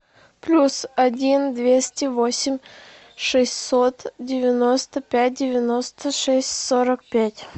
плюс один двести восемь шестьсот девяносто пять девяносто шесть сорок пять